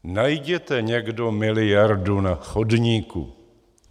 Najděte někdo miliardu na chodníku!